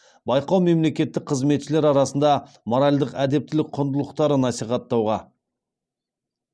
байқау мемлекеттік қызметшілер арасында моральдық әдептілік құндылықтарын насихаттауға